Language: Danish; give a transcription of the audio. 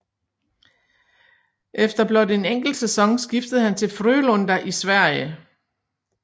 Efter blot en enkelt sæson skiftede han til Frölunda i Sverige